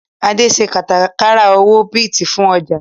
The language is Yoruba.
Adé ń ṣe kátàkárà owó Bíìtì fún ọjà